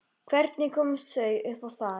Hvernig komust þau upp á þakið?